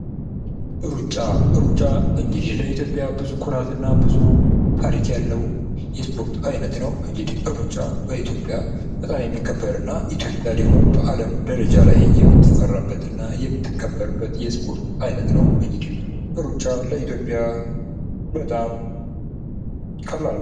ሩጫ:- ሩጫ ለኢትዮጵያ ኩራት እና ብዙ ታሪክ ያለዉ የስፖርት አይነት ነዉ። ሩጫ በኢትዮጵያ በጣም የሚከበር እና ኢትዮጵያ ደግሞ በአለም ደረጃ ላይ የምትፈራበት እና የምትከበርበት የስፖርት አይነት ነዉ። ሩጫ ለኢትዮጵያ በጣም ቀላል ነዉ።